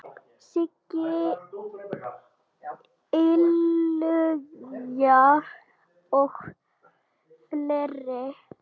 Siggi Illuga og fleiri.